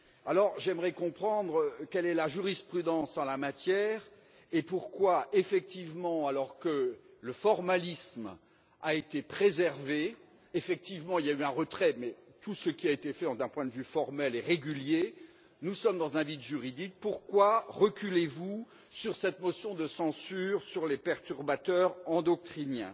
Alors j'aimerais comprendre quelle est la jurisprudence en la matière et pourquoi, alors que le formalisme a été préservé effectivement, il y eu un retrait, mais tout ce qui a été fait d'un point de vue formel est régulier et nous sommes dans un vide juridique pourquoi vous reculez sur cette motion de censure sur les perturbateurs endocriniens.